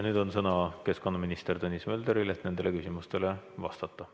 Nüüd on sõna keskkonnaminister Tõnis Möldril, et nendele küsimustele vastata.